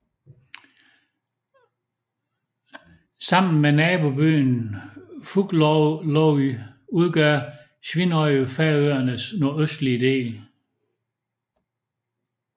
Sammen med naboøen Fugloy udgør Svínoy Færøernes nordøstligste del